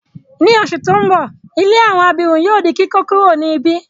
Ni oṣù ti n bọ, ilé àwọn abirùn yóò di kíkókuro ni ibi.